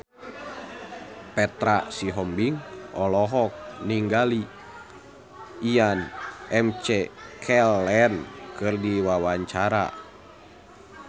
Petra Sihombing olohok ningali Ian McKellen keur diwawancara